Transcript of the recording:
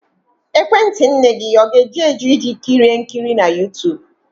Ekwentị nne ga-eju eju iji kirie nkiri na YouTube?